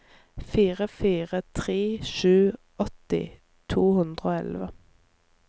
fire fire tre sju åtti to hundre og elleve